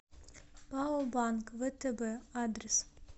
пао банк втб адрес